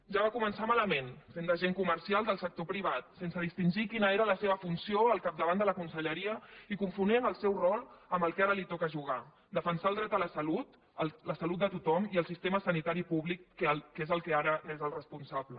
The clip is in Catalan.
ja va començar malament fent d’agent comercial del sector privat sense distingir quina era la seva funció al capdavant de la conselleria i confonent el seu rol amb el que ara li toca jugar defensar el dret a la salut de tothom i el sistema sanitari públic que és allò del que ara és el responsable